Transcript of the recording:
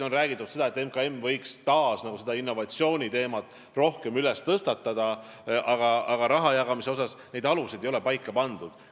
On räägitud seda, et MKM võiks taas innovatsiooniteemat rohkem tõstatada, aga raha jagamise alused ei ole paika pandud.